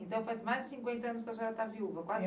Então, faz mais de cinquenta anos que a senhora está viúva.